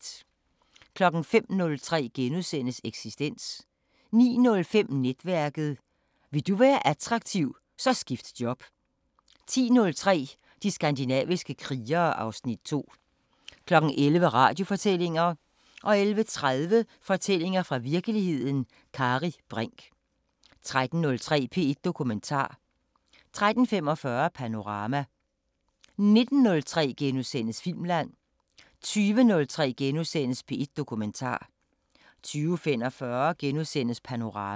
05:03: Eksistens * 09:05: Netværket: Vil du være attraktiv, så skift job 10:03: De skandinaviske krigere (Afs. 2) 11:00: Radiofortællinger 11:30: Fortællinger fra virkeligheden – Kari Brinch 13:03: P1 Dokumentar 13:45: Panorama 19:03: Filmland * 20:03: P1 Dokumentar * 20:45: Panorama *